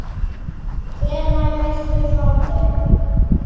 Hvenær viltu fá þau?